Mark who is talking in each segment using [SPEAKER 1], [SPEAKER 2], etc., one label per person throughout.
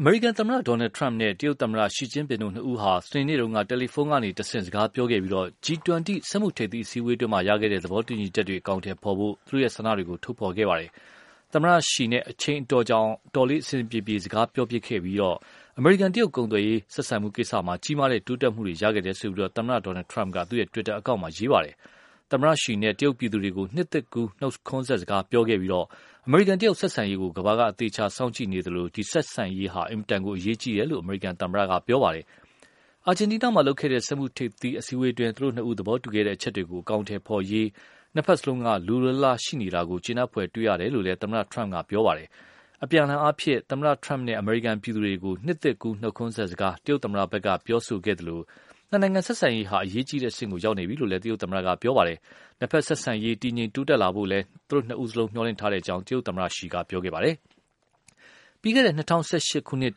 [SPEAKER 1] အမေရိကန်သမ္မတ Donald Trump နဲ့ တရုတ် သမ္မတ Xi Jinping တို့ နှစ်ဦးဟာ စနေနေ့တုန်းက တယ်လီဖုံးကတဆင့် စကားပြောခဲ့ပြီး၊ G20 စက်မှုထိပ်သီးအစည်းအဝေးအတွင်း ရခဲ့တဲ့ သဘောတူညီချက်တွေကို အကောင်အထည်ဖော်ဖို့ သူတို့ဆန္ဒတွေကို ထုတ်ဖော်ပြောခဲ့ကြပါတယ်။ သမ္မတ ရှီ အချိန်အတော်ကြာအောင် တော်တော်လေးအဆင်ပြေပြေ စကားပြောဖြစ်ခဲ့ကြပြီး၊ အမေရိကန် တရုတ် ကုန်သွယ်ရေးဆက်ဆံမှုကိစ္စမှာ ကြီးမားတဲ့ တိုးတက်မှုတွေ ရခဲ့တယ်လို့ သမ္မတ Trump က သူ့ တွစ်တာအကောင့်မှာ ရေးပါတယ်။ သမ္မတ ရှီ နဲ့ တရုတ်ပြည်သူတွေကို နှစ်သစ်ကူးနှုတ်ခွန်းဆက်စကားပြောခဲ့ပြီး၊ အမေရိကန်တရုတ် ဆက်ဆံရေးကို ကမ္ဘာက အသေအချာစောင့်ကြည့်နေသလို ဒီ ဆက်ဆံရေးဟာ အင်မတန်အရေးကြီးတယ်လို့ အမေရိကန်သမ္မတက ပြောခဲ့ပါတယ်။ အာဂျင်တီးနားမှာ လုပ်ခဲ့တဲ့ စက်မှုထိပ်သီးအစည်းအဝေးအတွင်း သူတို့နှစ်ဦးသဘောတူခဲ့တဲ့ အချက်တွေကို အကောင်အထည်ဖော်ရေး နှစ်ဖက်လုံးက လိုလိုလားလားရှိနေတာကို ကျေနပ်ဖွယ်တွေ့ရတယ်လို့လည်း သမ္မတ Donald Trump က ပြောခဲ့ပါတယ်။ အပြန်အလှန်အားဖြင့် သမ္မတ Trump နဲ့ အမေရိကန်ပြည်သူတွေကို နှစ်သစ်ကူးနှုတ်ခွန်းဆက်စကား တရုတ်သမ္မတဖက်က ပြောဆိုခဲ့သလို၊ နှစ်နိုင်ငံဆက်ဆံရေးဟာ အရေးကြီးတဲ့အဆင့်ကို ရောက်နေပြီလို့ တရုတ်သမ္မတက ပြောပါတယ်။ နှစ်ဖက်ဆက်ဆံရေး တည်ငြိမ်တိုးတက်လာဖို့လည်း သူတို့နှစ်ဦးလုံး မျှော်လင့်ထားတယ်လို့ တရုတ်သမ္မတ Xi က ပြောခဲ့ပါတယ်။ ပြီးခဲ့တဲ့ ၂၀၁၈ ခုနှစ်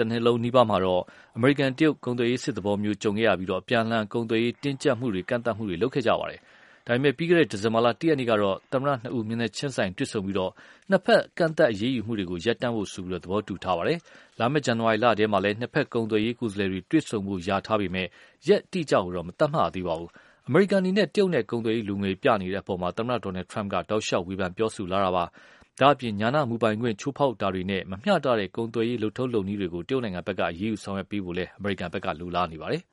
[SPEAKER 1] တနှစ်လုံးနီးပါးမှာတော့ အမေရိကန်နဲ့ တရုတ် ကုန်သွယ်ရေးစစ်သဘောမျိုး ကြုံခဲ့ပြီး အပြန်အလှန် ကုန်သွယ်ရေးတင်းကြပ်မှုတွေ လုပ်ခဲ့ကြပါတယ်။ ဒါပေမယ့် ပြီးခဲ့တဲ့ ဒီဇင်ဘာ ၁ ရက်နေ့ကတော့ သမ္မတနှစ်ဦး မျက်နှာချင်းဆိုင်တွေ့ဆုံပြီး နှစ်ဖက် ကန့်သတ်အရေးယူမှုတွေကို ရပ်ဖို့ သဘောတူခဲ့ကြပါတယ်။ လာမယ့် ဇန်နဝါရီလထဲမှာ နှစ်ဖက် ကုန်သွယ်ရေးကိုယ်စားလှယ်တွေ တွေ့ဆုံဖို့လျာထားပေမယ့် ရက်အတိအကျတော့ မသတ်မှတ်ရသေးပါဘူး။ အမေရိကန်အနေနဲ့ တရုတ်နဲ့ ကုန်သွယ်ရေးလိုငွေပြနေတဲ့အပေါ်မှာ သမ္မတ Trump က တောက်လျှောက်ဝေဖန်ပြောဆိုလာတာပါ။ ဒါ့အပြင် ဉာဏမူပိုင်ခွင့်ချိုးဖောက်တာတွေနဲ့ မမျှတတဲ့ ကုန်သွယ်ရေးလုပ်ထုံးလုပ်နည်းတွေကို တရုတ်ဖက်က အရေးယူဆောင်ရွက်ပေးဖို့လည်း အမေရိကန်ဖက်က လိုလားနေပါတယ်။